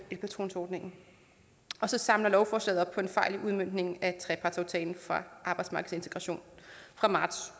elpatronordningen og så samler lovforslaget op på en fejl i udmøntningen af trepartsaftalen fra arbejdsmarkedsintegrationen fra marts